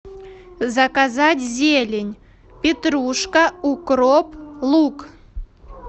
заказать зелень петрушка укроп лук